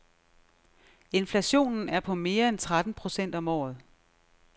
Inflationen er på mere end tretten procent om året.